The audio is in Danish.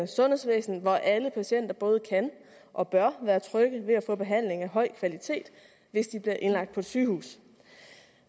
sundhedsvæsen hvor alle patienter både kan og bør være trygge ved at få behandling af høj kvalitet hvis de bliver indlagt på et sygehus